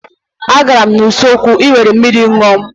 Agara m n'usekwu I were mmiri ṅụọ.